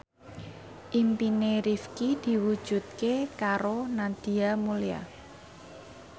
impine Rifqi diwujudke karo Nadia Mulya